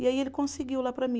E aí ele conseguiu lá para mim.